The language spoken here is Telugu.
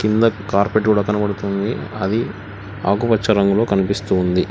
కింద కార్పెట్ కూడా కనబడుతుంది అది ఆకుపచ్చ రంగులో కన్పిస్తూ ఉంది.